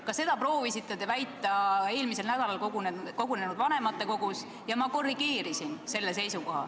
Ka seda te proovisite väita eelmisel nädalal kogunenud vanematekogus ja ma korrigeerisin seda.